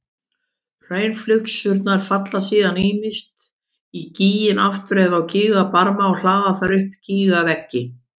Hraunflygsurnar falla síðan ýmist í gíginn aftur eða á gígbarmana og hlaða þar upp gígveggi.